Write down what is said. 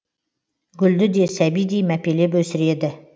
гүлді де сәбидей мәпелеп өсіреді